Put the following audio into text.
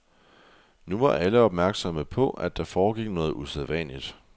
Nu var alle opmærksomme på, at der foregik noget usædvanligt.